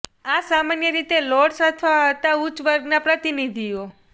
આ સામાન્ય રીતે લોર્ડ્સ અથવા હતા ઉચ્ચ વર્ગના પ્રતિનિધિઓ